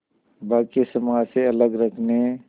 बाक़ी समाज से अलग रखने